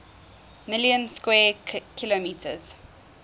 million square kilometers